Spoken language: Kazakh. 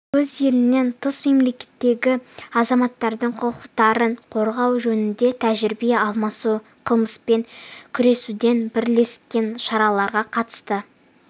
өз елінен тыс мемлекеттердегі азаматтардың құқықтарын қорғау жөнінде тәжірибе алмасу қылмыспен күресудегі бірлескен шараларға қатысты